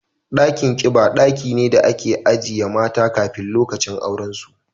Dakin kiba daki ne da ake ajiye mata kafin lokacin auren su